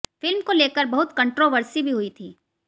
film को लेकर बहुत कंट्रोवर्सी भी हुई थी